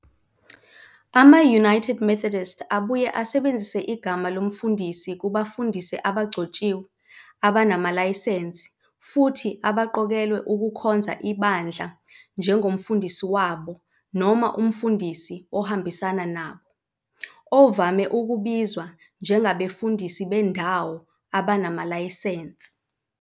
Ama-United Methodists abuye asebenzise igama lomfundisi kubafundisi abangagcotshiwe abanamalayisense futhi abaqokelwe ukukhonza ibandla njengomfundisi wabo noma umfundisi ohambisana nabo, ovame ukubizwa njengabefundisi bendawo abanamalayisense.